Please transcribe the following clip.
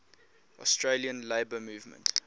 australian labour movement